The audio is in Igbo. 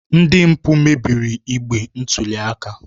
Ndị mpụ mebiri igbe ntụli aka